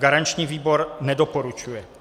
Garanční výbor nedoporučuje.